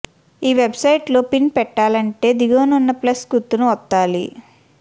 ఈ వెబ్సైట్లో పిన్ పెట్టాలంటే దిగువనున్న ప్లస్ గుర్తును ఒత్తాలి